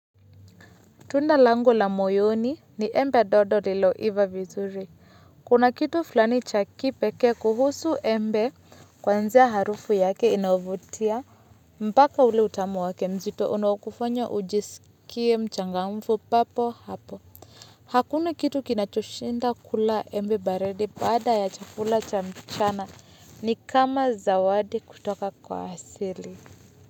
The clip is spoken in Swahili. Tunda langu la moyoni ni embe dodo lililoiva vizuri. Kuna kitu fulani cha kipekee kuhusu embe kuanzia harufu yake inayovutia. Mpaka ule utamu wake mzito unaokufanya ujisikie mchangamfu papo hapo. Hakuna kitu kinachoshinda kula embe baridi baada ya chakula cha mchana ni kama zawadi kutoka kwa asili.